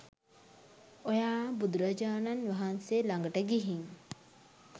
ඔයා බුදුරජාණන් වහන්සේ ලඟට ගිහින්